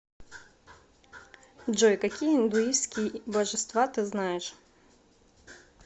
джой какие индуистские божества ты знаешь